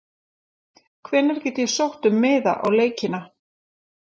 Hvenær get ég sótt um miða á leikina?